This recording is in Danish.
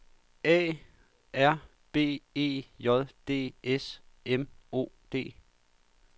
A R B E J D S M O D